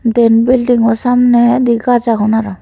dyen buildingo samne endey gaj agon aro.